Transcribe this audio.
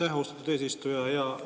Aitäh, austatud eesistuja!